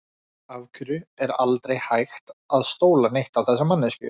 Af hverju er aldrei hægt að stóla neitt á þessa manneskju?